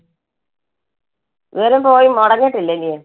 അന്നേരം പോയി മുടങ്ങിട്ടില്ല ഇല്ലിയൊ?